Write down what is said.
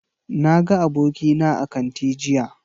Na ga abokina a kanti jiya